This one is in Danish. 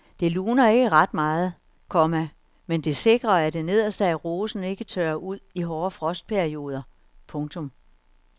Det luner ikke ret meget, komma men det sikrer at det nederste af rosen ikke tørrer ud i hårde frostperioder. punktum